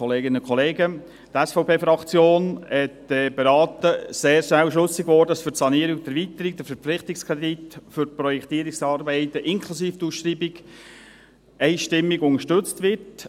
Die SVP-Fraktion hat beraten und ist sehr schnell schlüssig geworden, dass für die Sanierung und die Erweiterung der Verpflichtungskredit für die Projektierungsarbeiten inklusive der Ausschreibung einstimmig unterstützt wird.